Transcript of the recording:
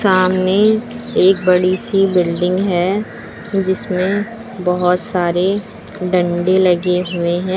सामने एक बड़ी सी बिल्डिंग है जिसमें बहुत सारे डंडे लगे हुए हैं।